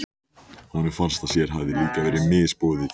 Honum fannst að sér hefði líka verið misboðið.